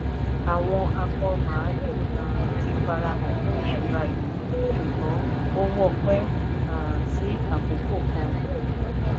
"àwọn akọ mààlúù um ti farahàn fún ìṣura yìí ṣùgbọ́n ó wọ́pẹ́ um sí akókò kan."